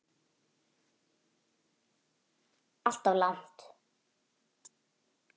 Alltof langt.